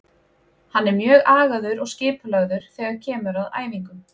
Hann er mjög agaður og skipulagður þegar kemur að æfingum.